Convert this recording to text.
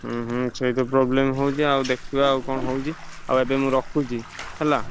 ହୁଁ ହୁଁ ସେଇତ problem ହଉଛି ଆଉ ଦେ ଖିବା ଆଉ କଣ ହଉଛି ଆଉ ଏବେ ମୁଁ ରଖୁଛି ହେଲା।